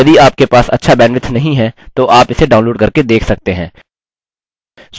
यदि आपके पास अच्छा bandwidth नहीं है तो आप इसे download करके देख सकते हैं